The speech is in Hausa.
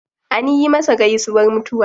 Anyi masa gaisuwar mutuwa.